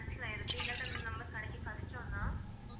Cancel ஆயிருக்கு இல்லாட்ட இந்த number கிடைக்க கஷ்டம் தான்